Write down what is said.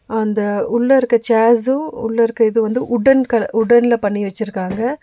அந்த உள்ள இருக்க சேர்ஸ்ஸு உள்ள இருக்க இது வந்து வுட்டன் கல வுட்டன்ல பண்ணி வெச்சிருக்காங்க. ‌